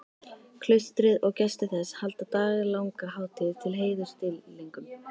Klaustrið og gestir þess halda daglanga hátíð til heiðurs dýrlingnum.